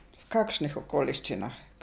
V kakšnih okoliščinah?